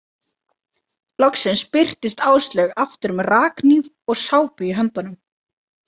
Loksins birtist Áslaug aftur með rakhníf og sápu í höndunum.